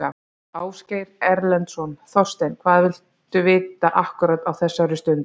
Ásgeir Erlendsson: Þorsteinn hvað vitum við akkúrat á þessari stundu?